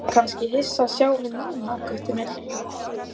Þú ert kannski hissa að sjá mig núna, Gutti minn.